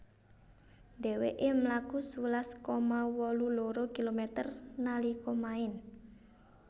Dhèwèkè mlaku sewelas koma wolu loro kilometer nalika maèn